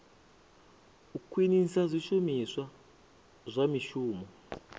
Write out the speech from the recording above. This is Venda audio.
u khwinisa zwishumiswa zwa mishumo